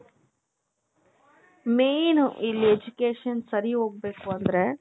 main ಇಲ್ಲಿ education ಸರಿ ಹೋಗ್ಬೇಕು ಅಂದ್ರೆ